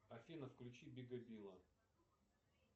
афина включи бига билла